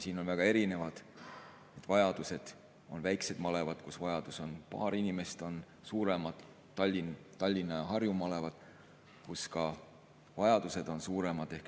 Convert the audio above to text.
Siin on väga erinevad vajadused: on väikesed malevad, kus vajadus on paar inimest, on suuremad, Tallinna ja Harju malevad, kus vajadused on suuremad.